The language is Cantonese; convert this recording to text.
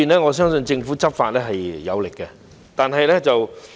我相信政府在這方面的執法是有力的。